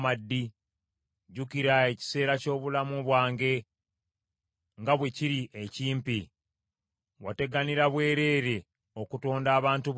Jjukira ekiseera ky’obulamu bwange nga bwe kiri ekimpi. Wateganira bwereere okutonda abantu bonna!